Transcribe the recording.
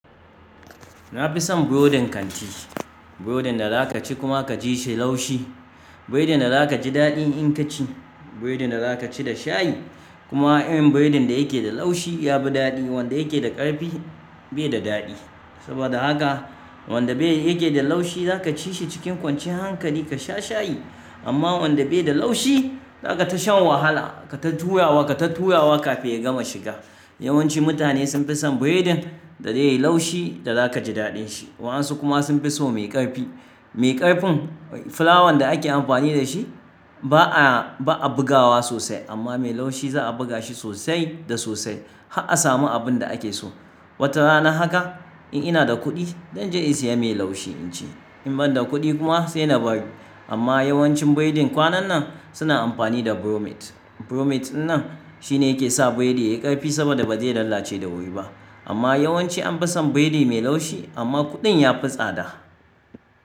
Na fi son burodin kanti, burodin da za ka ci kuma ka ji shi laushi. Burodin da za ka ji daɗi in ka ci. Burodin da za ka ci da shayi. Kuma irin burodin da yake da laushi ya fi daɗi, wanda yake da ƙarfi bai da daɗi. Saboda haka wanda bai yake da laushi za ka ci shi cikin kwancin hankali ka sha shayi. Amma wanda bai da laushi za ka ta shan wahala, ka ta turawa, ka ta turawa kafin ya gama shiga. Yawanci mutane sun fi son burodin da zai yi laushi da za ka ji daɗin shi. Waɗansu kuma sun fi so mai ƙarfi. Mai ƙarfin, fulawan da ake amfani da shi ba a, ba a bugawa sosai. Amma mai laushi za a buga shi sosai da sosai har a samu abin da ake so. Wata rana haka in ina da kuɗi zan je in saya mai laushi in ci. In ban da kuɗi kuma sai na bari. Amma yawancin burodin kwanan nan suna amfani da bromate. Bromate nan shine yake sa burodi yayi ƙarfi saboda ba zai lalace da wuri ba. Amma yawanci an fi son burodi mai laushi amma kuɗin ya fi tsada.